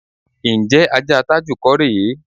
Ǹjé̩ ajá Tájù kò rè é?